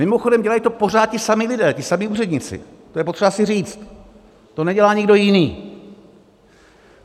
Mimochodem, dělají to pořád ti samí lidé, ti samí úředníci, to je potřeba si říct, to nedělá nikdo jiný.